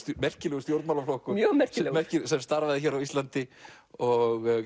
merkilegur stjórnmálaflokkur mjög merkilegur sem starfaði hér á Íslandi og